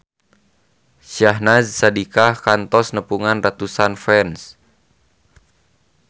Syahnaz Sadiqah kantos nepungan ratusan fans